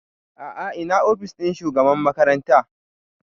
A'a ina ofis ɗin shugaban makaranta